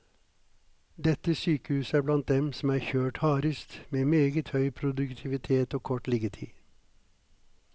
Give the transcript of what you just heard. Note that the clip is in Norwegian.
Dette sykehuset er blant dem som er kjørt hardest, med meget høy produktivitet og kort liggetid.